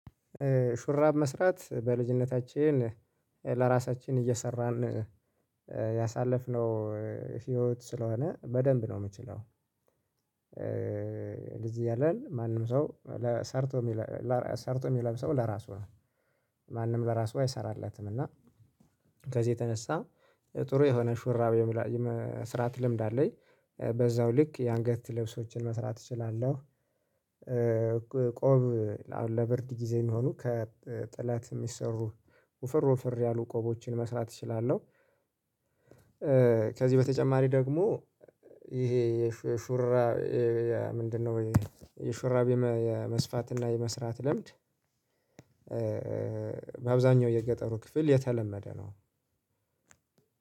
ሹራብ መስራት በልጅነታችን ለራሳችን እየሰራን ያሳለፍነው ህይወት ስለሆነ በደንብ ነው የምችለው። ለጂ እያለን ማንም ሰው ሰርቶ ሰርቶ የሚለብሰው ለራሱ ነው። ማንም ለራሱ አይሰራለትም። እና ከዚህ የተነሳ ጥሩ የሆነ ሹራብ የመስራት ልምድ አለኝ። በዛው ልክ የአንገት ልብሶችን መስራት እችላለሁ። ቆብ አሁን ለብርድ ጊዜ የሚሆኑ ከጥላት የሚሰሩ ወፍር ወፍር ያሉ ቆቦችን መስራት እችላለሁ። ከዚህ በተጨማሪ ደግሞ ይሄ የሹራብ ምንድነው? የሹራብ የመስፋትና የመስራት ልምድ። በአብዛኛው የገጠሩ ክፍል የተለመደ ነው።